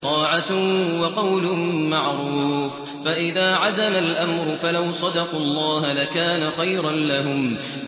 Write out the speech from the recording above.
طَاعَةٌ وَقَوْلٌ مَّعْرُوفٌ ۚ فَإِذَا عَزَمَ الْأَمْرُ فَلَوْ صَدَقُوا اللَّهَ لَكَانَ خَيْرًا لَّهُمْ